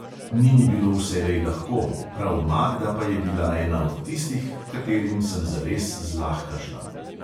Ni mi bilo vselej lahko, prav magda pa je bila ena od tistih, h katerim sem zares zlahka šla.